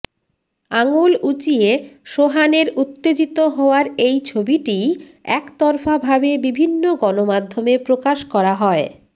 আঙুল উঁচিয়ে সোহানের উত্তেজিত হওয়ার এই ছবিটিই একতরফাভাবে বিভিন্ন গণমাধ্যমে প্রকাশ করা হয়